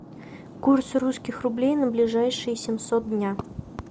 курс русских рублей на ближайшие семьсот дня